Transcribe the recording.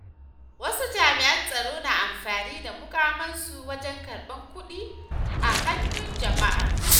Wasu jami’an tsaro na amfani da muƙamansu wajen karɓan kuɗi a hannun jama'a.